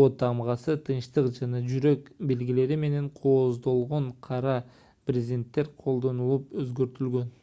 о тамгасы тынчтык жана жүрөк белгилери менен кооздолгон кара брезенттер колдонулуп өзгөртүлгөн